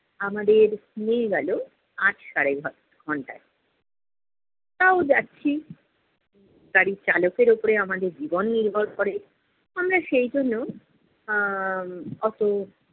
আমাদের নিয়ে গেলো আট-সাড়ে আ~ আট ঘন্টায়। তাও যাচ্ছি, গাড়ির চালকের উপর আমাদের জীবন নির্ভর করে। আমরা সেইজন্য আহ অত